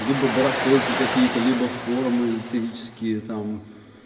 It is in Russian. либо барахолки какие-то либо формы эзотерические там